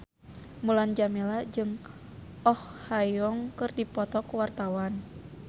Mulan Jameela jeung Oh Ha Young keur dipoto ku wartawan